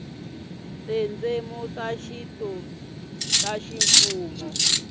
tindzimi ta xintu ta ximfumo